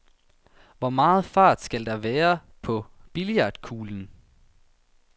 Hvor meget fart skal der være på billiardkuglen?